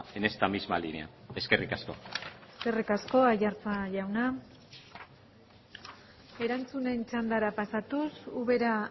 en esta misma línea eskerrik asko eskerrik asko aiartza jauna erantzunen txandara pasatuz ubera